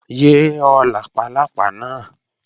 Yé ho làpálápá náà!